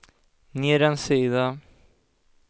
ner en sida